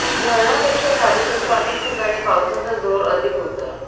शहरापेक्षा तालुक्याच्या अनेक ठिकाणी पावसाचा जोर अधिक होता